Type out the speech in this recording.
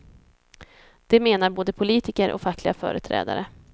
Det menar både politiker och fackliga företrädare.